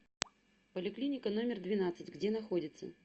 поликлиника номер двенадцать где находится